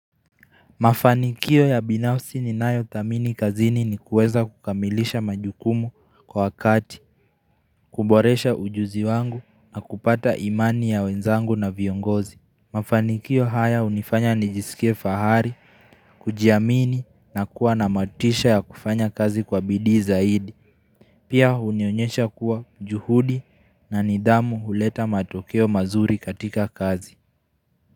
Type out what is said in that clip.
Mafanikio ya binafsi ni nayo thamini kazini ni kueza kukamilisha majukumu kwa wakati, kuboresha ujuzi wangu na kupata imani ya wenzangu na viongozi. Mafanikio haya hunifanya nijisikie fahari, kujiamini na kuwa na matisha ya kufanya kazi kwa bidii zaidi. Pia hunionyesha kuwa juhudi na nidhamu huleta matokeo mazuri katika kazi.